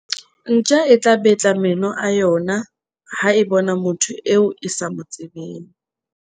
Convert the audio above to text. ntja e tla betla meno a yona ha e bona motho eo e sa mo tsebeng